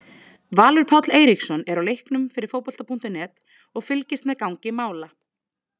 Valur Páll Eiríksson er á leiknum fyrir Fótbolta.net og fylgist með gangi mála.